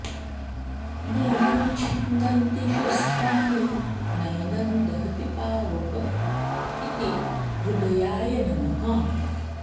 नैनं छिन्दन्ति शस्त्राणि नैनं दहति पावक इति हृदयाय नमः